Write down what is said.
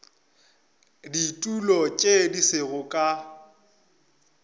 ditulo tše di sego ka